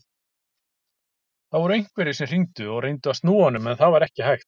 Það voru einhverjir sem hringdu og reyndu að snúa honum en það var ekki hægt.